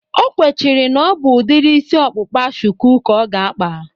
O kwechiri na ọ bụ udiri isi ọkpụkpa shuku ka ọ ga-akpa